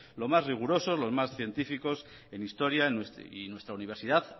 los más rigurosos los más científicos en historia y nuestra universidad